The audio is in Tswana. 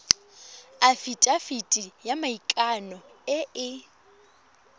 afitafiti ya maikano e e